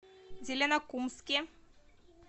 зеленокумске